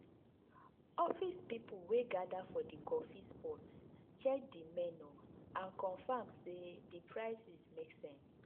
office people wey gather for the coffee spot check the menu and confirm say the prices make sense.